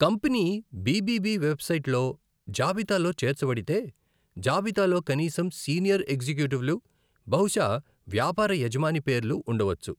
Company BBB వెబ్సైట్లో జాబితాలో చేర్చబడితే, జాబితాలో కనీసం సీనియర్ ఎగ్జిక్యూటివ్లు, బహుశా వ్యాపార యజమాని పేర్లు ఉండవచ్చు.